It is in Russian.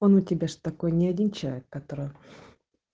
он у тебя же такой ни один человек который